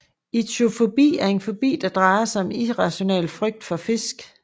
Ichthyofobi er en fobi der drejer sig om en irrationel frygt for fisk